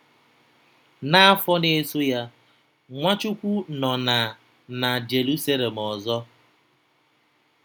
N’afọ na-eso ya, Nwachukwu nọ na na Jeruselem ọzọ.